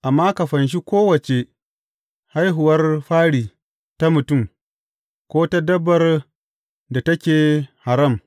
Amma ka fanshi kowace haihuwar fari ta mutum, ko ta dabbar da take haram.